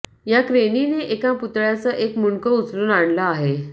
या क्रेनीनं एका पुतळ्याचं एक मुंडकं उचलून आणलं आहे